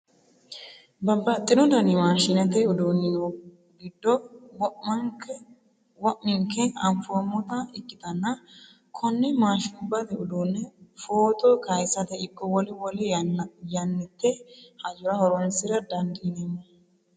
Babbaxxino dani maashinete uduuni no gede wo'minke anfoommotta ikkittanna kone maashinubbate uduune footto kayisate ikko wole wole yannite hajora horonsira dandiinanniho.